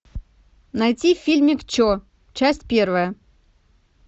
найти фильмик че часть первая